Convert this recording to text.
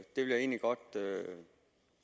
egentlig godt